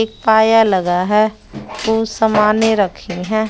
एक पाया लगा है कुछ समाने रखी हैं।